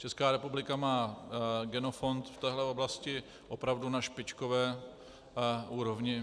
Česká republika má genofond v téhle oblasti opravdu na špičkové úrovni.